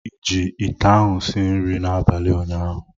Ị ji ite ahụ sie nri n'abalị ụnyaahụ?